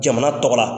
Jamana tɔgɔ la